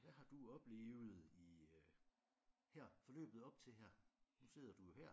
Hvad har du oplevet i øh her forløbet op til her nu sidder du jo her